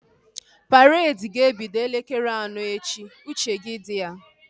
Paredi ga-ebido elekere anọ echi! Uche gị dị ya